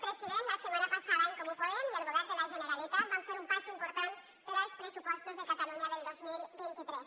president la setmana passada en comú podem i el govern de la generalitat van fer un pas important pels pressupostos de catalunya del dos mil vint tres